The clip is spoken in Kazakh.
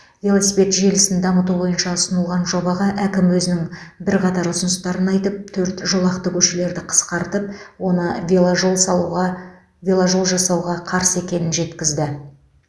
велосипед желісін дамыту бойынша ұсынылған жобаға әкім өзінің бірқатар ұсыныстарын айтып төрт жолақты көшелерді қысқартып оны веложол салуға веложол жасауға қарсы екенін жеткізді